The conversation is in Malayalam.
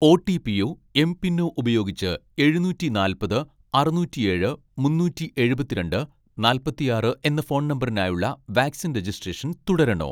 ഓ.ടി.പിയോ എംപിനോ ഉപയോഗിച്ച് എഴുനൂറ്റി നാൽപ്പത് അറുനൂറ്റിയേഴ് മുന്നൂറ്റി എഴുപത്തിരണ്ട് നാല്പത്തിയാറ് എന്ന ഫോൺ നമ്പറിനായുള്ള വാക്സിൻ രജിസ്ട്രേഷൻ തുടരണോ